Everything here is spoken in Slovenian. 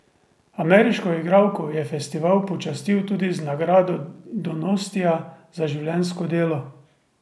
Ameriško igralko je festival počastil tudi z nagrado donostia za življenjsko delo.